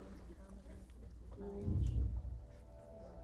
нальчик